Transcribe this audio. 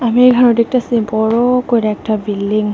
আমি এইখানে দেখতাসি বড় কইরা একটি বিল্ডিং ।